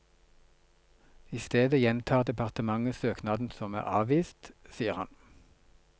I stedet gjentar departementet søknaden som er avvist, sier han.